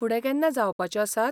फुडें केन्ना जावपाच्यो आसात?